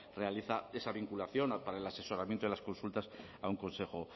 realiza esa vinculación para el asesoramiento de las consultas a un consejo